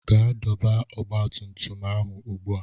Gaa dọba ọgba tum tum ahụ ugbu a!